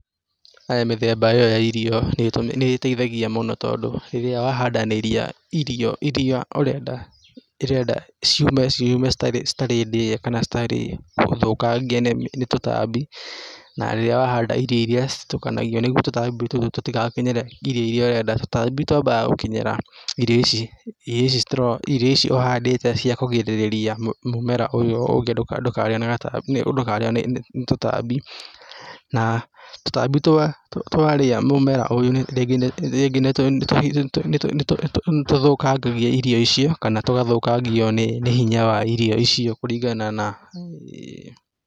Mĩthemba ĩyo ya irio nĩ ĩteithagia mũno tondũ, rĩrĩa wahandanĩria irio iria ũrenda ciume itari ndĩe kana citarĩ thũkangie nĩ tũtambi na rĩrĩa wahanda irio iria citukanagio nĩguo tũtambi tũtũ tũtigakinyĩre irio iria ũrenda, tũtambi twambaga gũkinyĩra irio ici, irio ici ũhandĩte cia kũgirĩrĩria mũmera ũyũ ndũkarĩo nĩ gatambi, ndũkarĩo nĩ tũtambi na tũtambi twa twarĩa mũmera ũyũ rĩngĩ nĩ nĩtũthũkangagia irio icio kana tũgathũkangio nĩ irio icio kũringa na..